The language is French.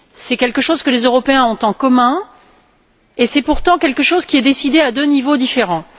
C'est quelque chose que les Européens ont en commun et c'est pourtant quelque chose qui est décidé à deux niveaux différents.